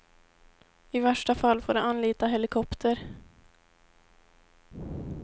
I värsta fall får de anlita helikopter.